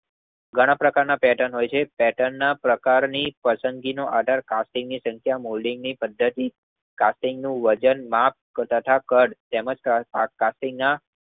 ઘણા પ્રકારના પેર્ટન હોય છે. પેર્ટનના પ્રકારની પસંદગી અઢાર કાસ્ટિંગની સંખ્યા મોલ્ડિંગની પદ્ધતિ કાસ્ટિંગનું વજન માપ તાહ કદ તેમજ કાસ્ટિંગના